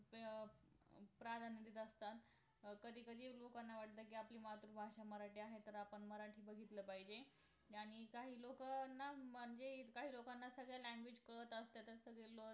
त्यामध्ये असतात कधी कधी लोकांना वाटत कि आपली मातृभाषा मराठी आहे म्हंटल्यावर आपण मराठी बघितलं पाहिजे आणि काही लोकांना म्हणजे काही लोकांना सगळ्या language काळात असतात